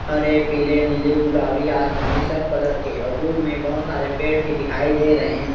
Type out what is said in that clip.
हरे पिले नीले गुलाबी आसमानी सब कलर के और दूर में बहोत सारे पेड़ भी दिखाई दे रहे है।